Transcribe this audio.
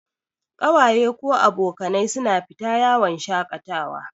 Kawaye/abokanai su na fita yawon shaƙatawa